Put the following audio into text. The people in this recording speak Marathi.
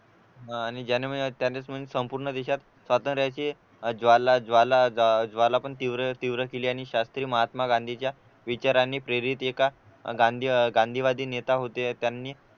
आह आणि ज्यांनी म्हणजे त्यांनी संपूर्ण देशात स्वातंत्र्याचे ज्वाला ज्वाला ज्वाला पण तीव्र तीव्र केली आणि शास्त्री महात्मा गांधीच्या विचारांनी प्रेरित एका गांधी गांधीवादी नेता होते त्यांनी